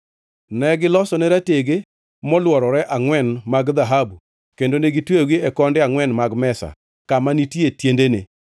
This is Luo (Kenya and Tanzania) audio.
Negilosone ratege molworore angʼwen mag dhahabu kendo ne gitweyogi e konde angʼwen mag mesa kama ne nitie tiendene.